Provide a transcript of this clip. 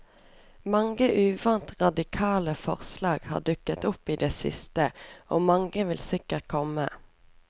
Mange uvant radikale forslag har dukket opp i det siste, og mange vil sikkert komme.